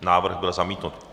Návrh byl zamítnut.